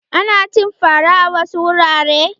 Ana cin fara a wasu wurare.